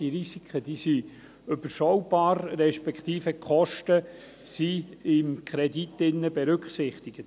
Sie sind überschaubar, beziehungsweise die Kosten sind im Kredit berücksichtigt.